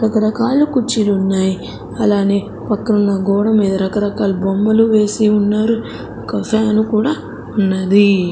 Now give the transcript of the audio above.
రకరకాల కుర్చీలున్నాయి అలానే పక్కన ఉన్న గోడ మీద రకరకాల బొమ్మలు వేసి ఉన్నారు ఒక ఫ్యాన్ కూడా ఉన్నది.